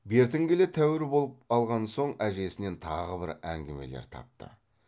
бертін келе тәуір болып алған соң әжесінен тағы бір әңгімелер тапты